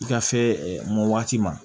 I ka se mɔ waati ma